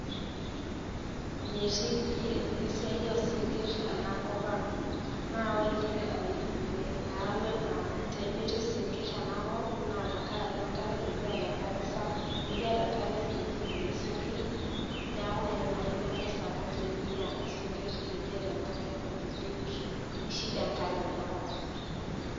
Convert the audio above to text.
Metii pi' esiai oosinkirr ena kop ang' naa ore entoki nayawua ena pee metii isinkirr ena kop naa tenkaraki enk'are, mikiata enk'are Sapuk, mikiata enk'are ewueji nikipikie esinkirr neaku naa Ina toki engae sapuk mikiata esinkirr mikiata enk'are nikipik amu shida Enk'are tena kop.